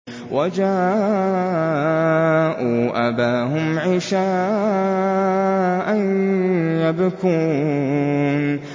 وَجَاءُوا أَبَاهُمْ عِشَاءً يَبْكُونَ